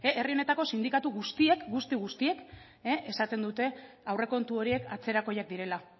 herri honetako sindikatu guztiek guzti guztiek esaten dute aurrekontu horiek atzerakoiak direla